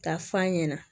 Ka f'a ɲɛna